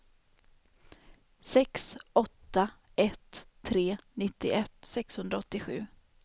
sex åtta ett tre nittioett sexhundraåttiosju